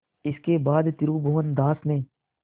इसके बाद त्रिभुवनदास ने